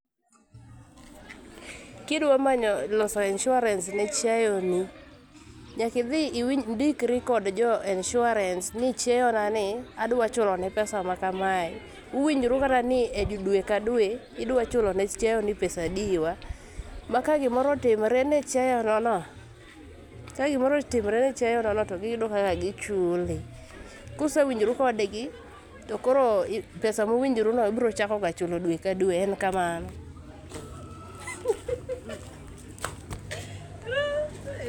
Kidwa manyo loso insurance ne chiayo ni, nyaka idhi iwinji, indikri gi jo insurance ni chiayo na ni adwa chulo ne insurance ma kamae. Uwinjru kata ni e dwe ka dwe idwa chulo ne chwayo ni pesa adi wa ma ka gimoro otimore ne chiayo no to giyudo kaka gichuli. Kusewinjoru kodgi to koro pesa ma uwinjru no ibiro chako chulo dwe ka dwe, en kamanao